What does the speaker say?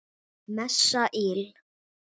Messa íl.